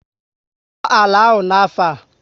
Koo àlà áhù n'afọ a!